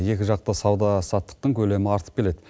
екіжақты сауда саттықтың көлемі артып келеді